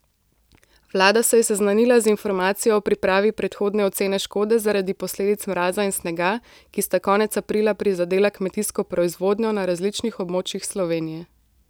Vlada se je seznanila z informacijo o pripravi predhodne ocene škode zaradi posledic mraza in snega, ki sta konec aprila prizadela kmetijsko proizvodnjo na različnih območjih Slovenije.